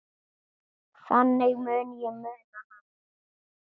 Þannig mun ég muna hana.